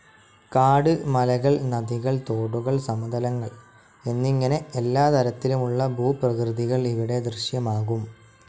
കാട്, മലകൾ, നദികൾ, തോടുകൾ, സമതലങ്ങൾ എന്നിങ്ങനെ എല്ലാ തരത്തിലുമുള്ള ഭൂപ്രകൃതികൾ ഇവിടെ ദൃശ്യമാകും.